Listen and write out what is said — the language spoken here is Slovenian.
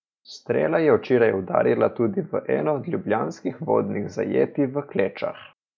Strela je včeraj udarila tudi v eno od ljubljanskih vodnih zajetij v Klečah.